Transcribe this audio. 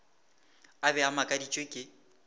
a be a makaditšwe ke